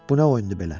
Bu nə oyundur belə?